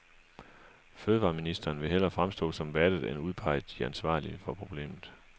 Fødevareministeren vil hellere fremstå som vattet end udpege de ansvarlige for problemet.